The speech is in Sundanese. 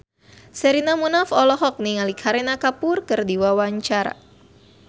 Sherina Munaf olohok ningali Kareena Kapoor keur diwawancara